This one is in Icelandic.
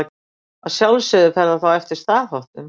Að sjálfsögðu fer það þá eftir staðháttum.